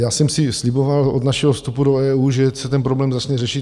Já jsem si sliboval od našeho vstupu do EU, že se ten problém začne řešit.